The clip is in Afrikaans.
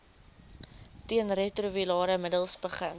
teenretrovirale middels begin